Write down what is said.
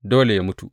Dole yă mutu.